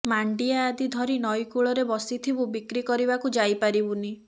ମାଣ୍ଡିଆ ଆଦି ଧରି ନଈ କୁଳରେ ବସିଥିବୁ ବିକ୍ରି କରିବାକୁ ଯାଇ ପାରିବୁନି